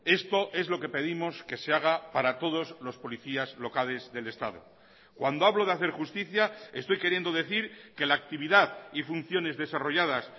esto es lo que pedimos que se haga para todos los policías locales del estado cuando hablo de hacer justicia estoy queriendo decir que la actividad y funciones desarrolladas